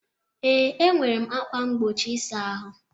Ee, nwere ákwà mgbochi ịsa ahụ.